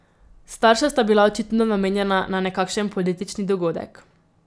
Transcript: Starša sta bila očitno namenjena na nekakšen politični dogodek.